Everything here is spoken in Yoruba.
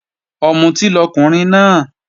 Ọ̀mùtí lọkùnrin náà